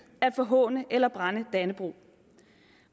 at forhåne eller brænde dannebrog